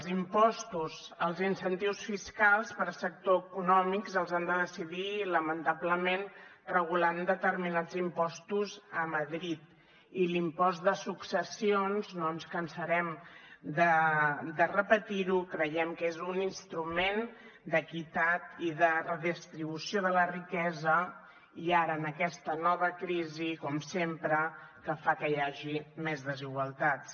els impostos els incentius fiscals per a sectors econòmics els han de decidir lamentablement regulant determinats impostos a madrid i l’impost de successions no ens cansarem de repetir ho creiem que és un instrument d’equitat i de redistribució de la riquesa i ara en aquesta nova crisi com sempre que fa que hi hagi més desigualtats